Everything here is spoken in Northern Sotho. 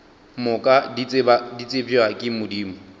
moka di tsebja ke modimo